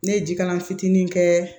Ne ye jikalan fitinin kɛ